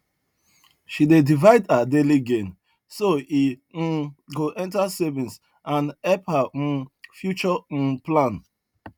she dey divide her daily gain so e um go enter savings and help her um future um plan